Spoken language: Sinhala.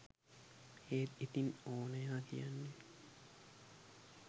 ඒත් ඉතින් ඕනයා කියන්නෙත්